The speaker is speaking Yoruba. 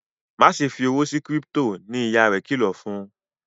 Máṣe fí òwò sí crypto! ní ìyá rẹ kìlọ fún.